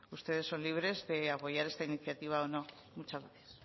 bueno pues ustedes son libres de apoyar esta iniciativa o no muchas gracias